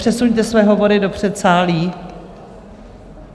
Přesuňte své hovory do předsálí.